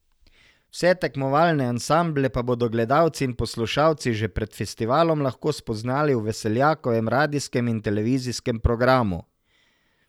Vse tekmovalne ansamble pa bodo gledalci in poslušalci že pred festivalom lahko spoznali v Veseljakovem radijskem in televizijskem programu.